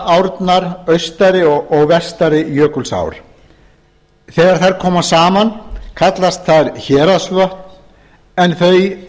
árnar austari og vestari jökulsár þegar þær koma saman kallast þær héraðsvötn en þau